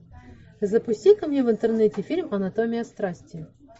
запусти ка мне в интернете фильм анатомия страсти